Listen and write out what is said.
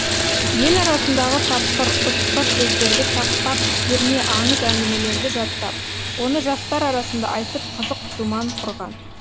ел арасындағы тапқыр ұтқыр сөздерді тақпақ терме аңыз әңгімелерді жаттап оны жастар арасында айтып қызық думан құрған